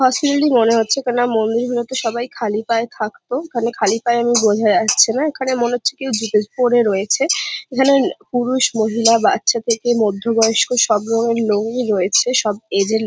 হসপিটালি মনে হচ্ছে কেন না মন্দির হলে তো সবাই খালি পায়ে থাকতো এখানে খালি পায়ে এমনি বোঝা যাচ্ছে না এখানে মনে হচ্ছে কেউ পরে রয়েছে এখানে পুরুষ মহিলা বাচ্চা থেকে মধ্য বয়স্ক সব রকমের রয়েছে সব এজের লো --